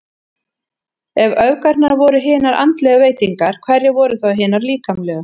Ef öfgarnar voru hinar andlegu veitingar, hverjar voru þá hinar líkamlegu?